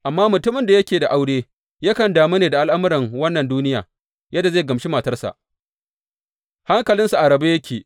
Amma mutumin da yake da aure yakan damu ne da al’amuran wannan duniya, yadda zai gamshi matarsa hankalinsa a rabe yake.